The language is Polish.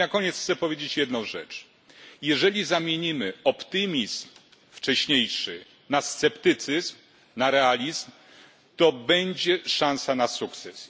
I na koniec chcę powiedzieć jedną rzecz jeżeli zamienimy wcześniejszy optymizm na sceptycyzm, na realizm, to będzie szansa na sukces.